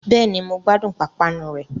Bẹ́ẹ̀ni, mo gbádùn pápánu rẹ̀